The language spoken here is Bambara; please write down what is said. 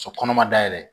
So kɔnɔ ma dayɛlɛ